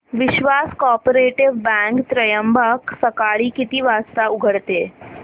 विश्वास cooperative bank Trimbak सकाळी किती वाजता उघडते